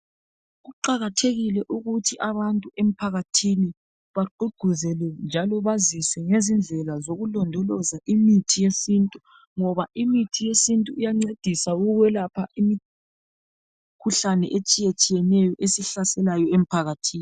Kuqakathekile ukuthi abantu emphakathini bagqugquzele njalo bazise ngezindlela zokulondoloza imithi yesintu ngoba imithi yesintu iyancedisa ukwelapha imikhuhlane etshiyetshiyeneyo esihlaselayo emphakathini.